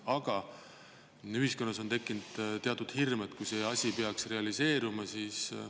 Aga ühiskonnas on tekkinud teatud hirm, et kui see asi peaks realiseeruma, siis …